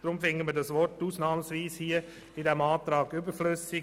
Darum finden wir das Wort «ausnahmsweise» in diesem Antrag überflüssig.